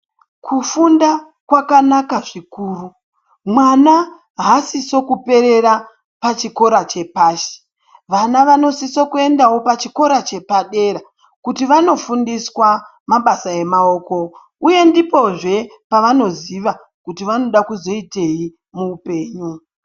Kufunda kwakanaka zvikuru mwana hasise kuperera pachikora chepashi vana vanosise kuendawo pachikora chepadera, kuti vanofundiswa mabasa emaoko uye ndipozve pavanoziva kuti vanoda kuzoitei muhupenyu.